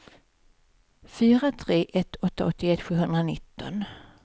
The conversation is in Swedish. fyra tre ett åtta åttioett sjuhundranitton